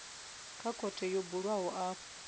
wa khothe yo bulwaho afho